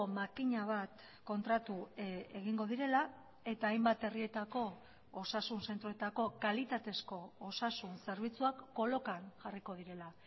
makina bat kontratu egingo direla eta hainbat herrietako osasun zentroetako kalitatezko osasun zerbitzuak kolokan jarriko direla